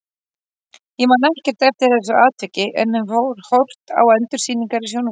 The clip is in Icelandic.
Ég man ekkert eftir þessu atviki en hef horft á endursýningar í sjónvarpinu.